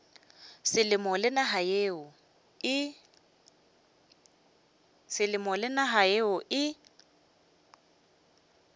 selemo le naga yeo e